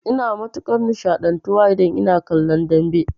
Ina matukar nishaɗantuwa idan ina kallon dambe